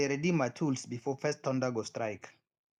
i dey ready my tools before first thunder go strike